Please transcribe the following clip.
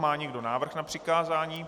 Má někdo návrh na přikázání?